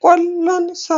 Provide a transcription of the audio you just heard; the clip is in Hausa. kwallon sa